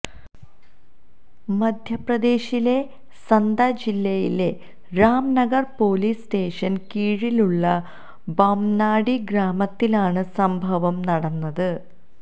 മധ്യപ്രദേശിലെ സത്ന ജില്ലയിലെ രാം നഗർ പോലീസ് സ്റ്റേഷന് കീഴിലുള്ള ബാംനാഡി ഗ്രാമത്തിലാണ് സംഭവം നടന്നത്